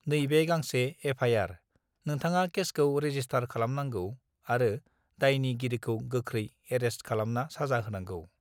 नैबे गांसे F I R नोंथाङा केसखौ रेजिसस्थार खालामनांगौ आरो दायनि गिरिखौ गोखरै एरेस्थ खालामना साजा होनांगौ